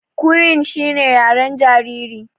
Cooing shine yaren jariri.